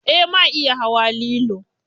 Eh ma iya hawa lilo.